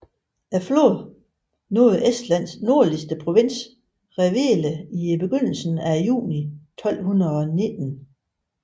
Flåden nåede Estlands nordlige provins Revele i begyndelsen af juni 1219